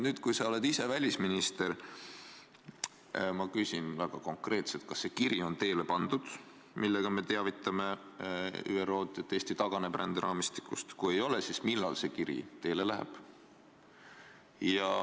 Nüüd, kui sa oled ise välisminister, küsin ma väga konkreetselt, kas on teele pandud see kiri, millega me teavitame ÜRO-d, et Eesti taganeb ränderaamistikust, ja kui ei ole, siis millal see kiri teele läheb.